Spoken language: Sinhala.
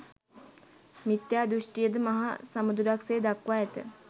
මිථ්‍යා දෘෂ්ටිය ද මහ සමුදුරක් සේ දක්වා ඇත.